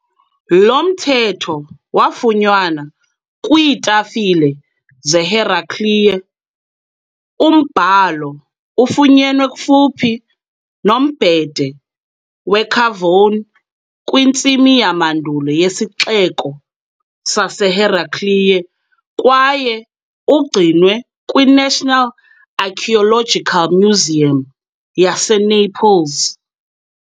Lo mthetho wafunyanwa kwiitafile zeHeraclea, umbhalo ufunyenwe kufuphi nombhede weCavone kwintsimi yamandulo yesixeko saseHeraclea kwaye ugcinwe kwi-National Archaeological Museum yaseNaples.